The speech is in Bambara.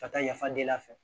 Ka taa yafa deli a fɛ